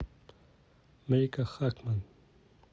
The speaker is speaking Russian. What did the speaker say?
марика хакман